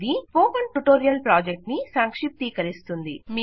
ఇది spoken tutorial ప్రాజెక్ట్ను సంక్షిప్తీకరిస్తుంది